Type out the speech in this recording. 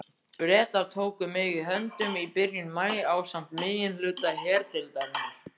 Bretar tóku mig höndum í byrjun maí ásamt meginhluta herdeildarinnar.